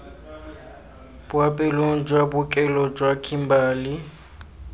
boapeelong jwa bookelo jwa kimberley